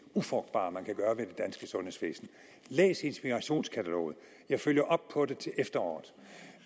ufrugtbare man kan gøre ved det danske sundhedsvæsen læs inspirationskataloget jeg følger op på det til efteråret